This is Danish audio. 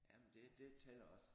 Jamen det det tæller også